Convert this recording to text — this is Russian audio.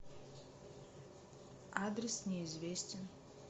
адрес неизвестен